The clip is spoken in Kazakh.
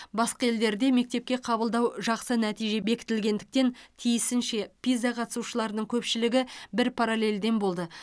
басқа елдерде мектепке қабылдау жақсы нәтиже бекітілгендіктен тиісінше пиза қатысушыларының көпшілігі бір параллельден болды